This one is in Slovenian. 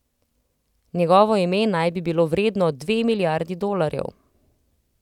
Njegovo ime naj bi bilo vredno dve milijardi dolarjev.